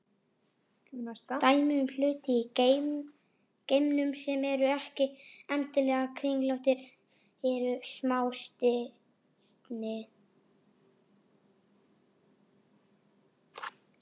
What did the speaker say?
Dæmi um hluti í geimnum sem eru ekki endilega kringlóttir eru smástirni.